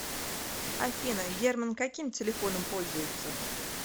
афина герман каким телефном пользуется